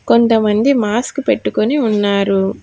కొంత మంది మాస్క్ పెట్టుకొని ఉన్నారు.